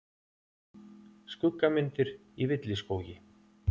Skuggamyndir í villiskógi.